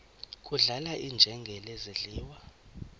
kudlala iinjengele zidliwa